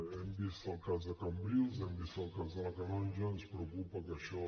hem vist el cas de cambrils hem vist el cas de la canonja ens preocupa que això